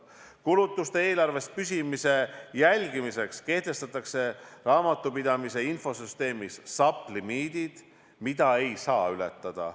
Kulutuste eelarves püsimise jälgimiseks kehtestatakse raamatupidamise infosüsteemis SAP limiidid, mida ei saa ületada.